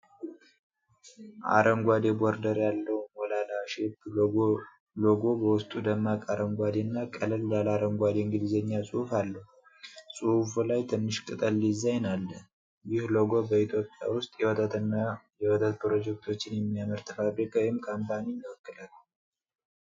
አረንጓዴ ቦርደር ያለው ሞላላ ሼፕ ሎጎ ሎጎው በውስጡ ደማቅ አረንጓዴ እና ቀለል ያለ አረንጓዴ እንግሊዝኛ ጽሑፍ አለው። ጽሑፉ ላይ ትንሽ ቅጠል ዲዛይን አለ። ይህ ሎጎ በኢትዮጵያ ውስጥ የወተት እና የወተት ፕሮዳክቶችን የሚያመርት ፋብሪካ ወይም ኮምፓኒ ይወክላል?